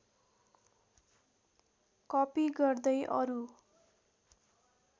copy गर्दै अरू